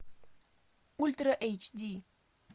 ультра эйч ди